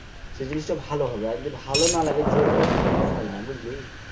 সেই জিনিসটা ভালো হবে আর যদি ভালো না লাগে জোর করে কোন জিনিস হয় না বুঝলি?